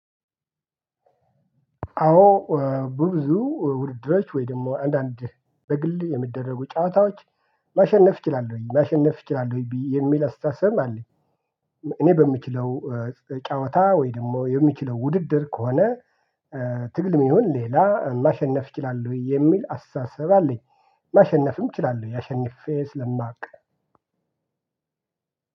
አዎ ብዙ ውድድሮች ወይ ደግሞ አንዳንድ በግል የሚደረጉ ጨዋታዎች ማሸነፍ እችላለሁኝ ማሸነፍ እችላለሁኝ ብዬ የሚል አስታሰብም አለኝ። እኔ በምችለው ጫወታ ወይ ደግሞ የሚችለው ውድድር ከሆነ። ትግልም ይሁን ሌላ ማሸነፍ እችላለው የሚል አስተሳሰብ አለኝ። ማሸነፍም እችላለሁ አሸንፌ ስለማውቅ